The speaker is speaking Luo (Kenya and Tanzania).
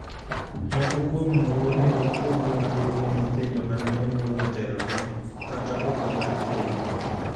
Moko kuom wuone ok pog mwandu ne nyithindo mane onyuol motelone, kata oko mar keny.